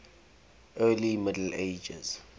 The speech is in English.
early middle ages